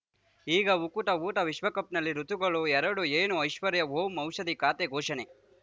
ಈಗ ಉಕುತ ಊಟ ವಿಶ್ವಕಪ್‌ನಲ್ಲಿ ಋತುಗಳು ಎರಡು ಏನು ಐಶ್ವರ್ಯಾ ಓಂ ಔಷಧಿ ಖಾತೆ ಘೋಷಣೆ